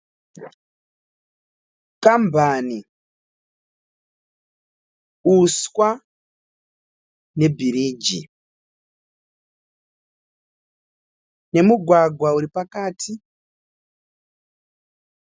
Kambani, uswa nebhiriji nemugwagwa uripakati.